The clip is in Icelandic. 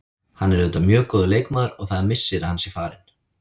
Hann er auðvitað mjög góður leikmaður og það er missir að hann sé farinn.